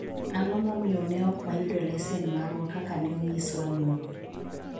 ang'o momiyo ne ok wayudo lesen marwa kaka ne onyiswa nyoro